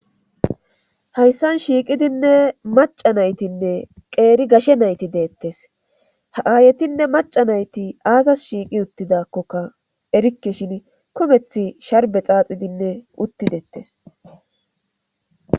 Hayssan shiiqidinne maca naytinne qeeri gashe nayti deettes ha7aayetinne maca nayti aasas shiiqi uttidakkoka erikke shin kumeth sharbe xaaxidinne uttideettes